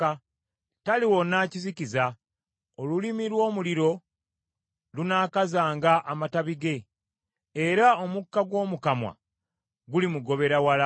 Taliwona kizikiza, olulimi lw’omuliro lunaakazanga amatabi ge, era omukka gw’omu kamwa gulimugobera wala.